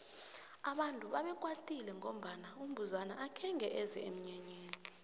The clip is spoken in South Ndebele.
abantu bebakwatile ngombana umbuzana akhenge eze emnyanyeni